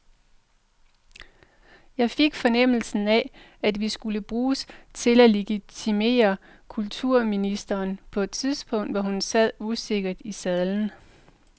Jeg fik fornemmelsen af, at vi skulle bruges til at legitimere kulturministeren på et tidspunkt, hvor hun sad usikkert i sadlen.